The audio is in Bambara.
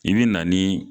I bi na ni